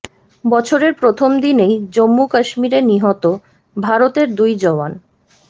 বছরের প্রথম দিনেই জম্মু কাশ্মীরে নিহত ভারতের দুই জওয়ান